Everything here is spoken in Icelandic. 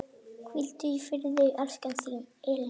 Hvíldu í friði, elsku Elín.